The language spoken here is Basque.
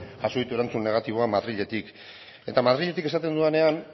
jaso ditu erantzun negatiboak madriletik eta madriletik esaten dudanean